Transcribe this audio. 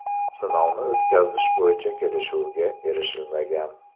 Sinovni o‘tkazish bo‘yicha kelishuvga erishilmagan.